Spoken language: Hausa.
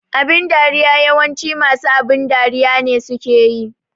Abin dariya yawanci masu abin dariya ne suke yi